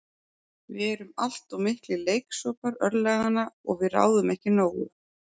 Við erum allt of miklir leiksoppar örlaganna og við ráðum ekki nógu.